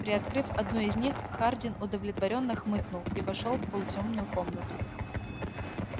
приоткрыв одну из них хардин удовлетворённо хмыкнул и вошёл в полутёмную комнату